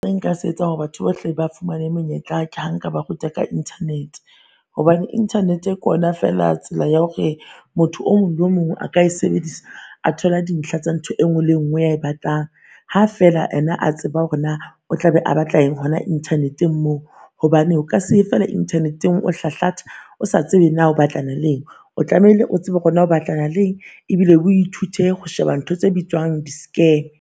Nka se etsang hore batho bohle ba fumane monyetla ke ha nka ba ruta ka internet. Hobane internet-e ke ona feela tsela ya hore motho o mong le o mong a ka e sebedisa a thola dintlha tsa ntho e nngwe le e nngwe e a e batlang, ha feela ena a tseba hore naa o tla be a batla eng hona internet-eng moo. Hobane o ka seye feela internet-eng o hlahlatha o sa tsebe naa o batlana le eng. O tlamehile o tsebe hore naa o batlana le eng ebile o ithute ho sheba ntho tse bitswang di